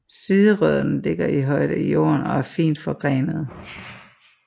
Siderødderne ligger højt i jorden og er fint forgrenede